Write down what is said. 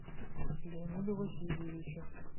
леониду васильевичу